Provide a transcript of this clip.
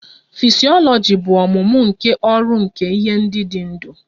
Fisyọlọji bụ ọmụmụ nke ọrụ nke ihe ndị dị ndụ